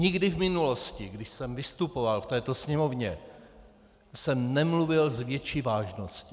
Nikdy v minulosti, když jsem vystupoval v této Sněmovně, jsem nemluvil s větší vážností.